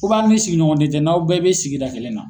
ni sigiɲɔgɔnden tɛ n'aw bɛɛ bɛ sigida kelenna.